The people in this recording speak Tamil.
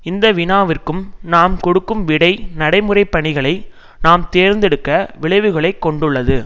இந்த வினாவிற்கும் நாம் கொடுக்கும் விடை நடைமுறை பணிகளை நாம் தேர்ந்தெடுக்க விளைவுகளை கொண்டுள்ளது